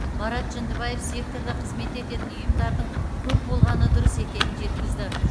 марат жүндібаев секторда қызмет ететін ұйымдардың көп болғаны дұрыс екенін жеткізді